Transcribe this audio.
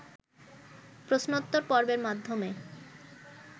প্রশ্নোত্তর পর্বের মাধ্যমে